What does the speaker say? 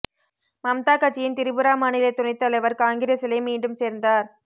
மம்தா கட்சியின் திரிபுரா மாநில துணைத் தலைவர் காங்கிரசிலே மீண்டும் சேர்ந்தார்